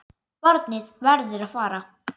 Barnið verður að fara.